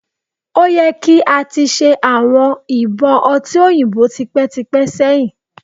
O yẹ ki a ti ṣe awọn ibọn ọti oyinbo tipẹtipẹ sẹhin